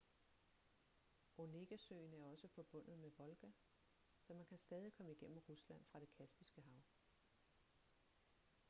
onegasøen er også forbundet med volga så man kan stadig komme igennem rusland fra det kaspiske hav